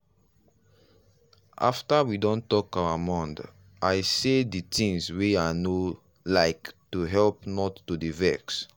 after we don talk our mond i say the things wey i no like to help not to dey vex.